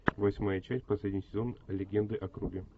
восьмая часть последний сезон легенды о круге